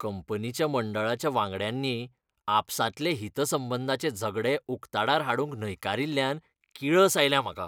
कंपनीच्या मंडळाच्या वांगड्यांनी आपसांतलें हितसंबंधांचें झगडें उकताडार हाडूंक न्हयकारील्ल्यान किळस आयल्या म्हाका.